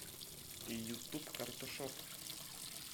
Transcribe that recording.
ютуб карташов